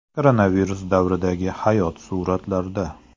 Koronavirus davridagi hayot suratlarda.